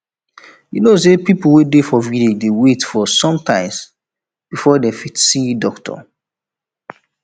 you know say people wey dey for village dey wait days sometimes before dem fit see doctor